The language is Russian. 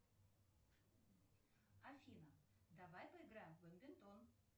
афина давай поиграем в бадминтон